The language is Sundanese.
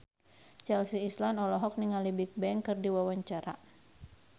Chelsea Islan olohok ningali Bigbang keur diwawancara